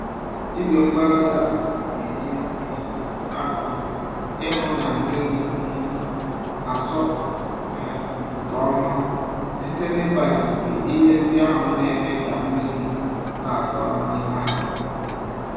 Igwe-mgbárí-ala na-enye um aka ịhụ na mmiri um nasọpụ um nke ọma site n'ịgbajisị ihe ndị ahụ némè' ka mmírí n'adọrọ n'ime ubi